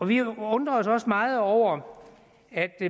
vi undrer os også meget over at